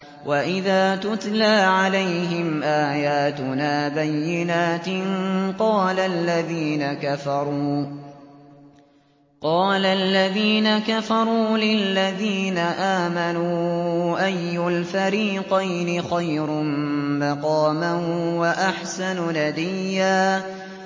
وَإِذَا تُتْلَىٰ عَلَيْهِمْ آيَاتُنَا بَيِّنَاتٍ قَالَ الَّذِينَ كَفَرُوا لِلَّذِينَ آمَنُوا أَيُّ الْفَرِيقَيْنِ خَيْرٌ مَّقَامًا وَأَحْسَنُ نَدِيًّا